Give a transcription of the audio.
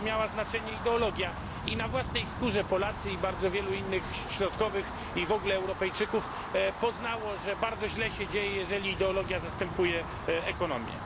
miała znaczenie ideologia i na własnej skórze Polacy i bardzo wielu innych środkowych i w ogóle Europejczyków poznało, że bardzo źle się dzieje, jeżeli ideologia zastępuje ekonomię.